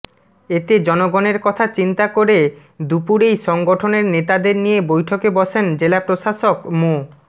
এতে জনগণের কথা চিন্তা করে দুপুরেই সংঠনের নেতাদের নিয়ে বৈঠকে বসেন জেলা প্রশাসক মো